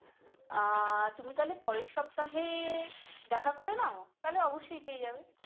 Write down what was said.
আহ তুমি তাহলে পরের সাপ্তাহে দেখা করে নাও তাহলে অবশ্যই পেয়ে যাবে ।